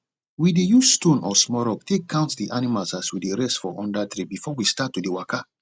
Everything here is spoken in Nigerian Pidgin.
we dey use stone or small rock take count d animals as we dey rest for for under tree before we start to dey waka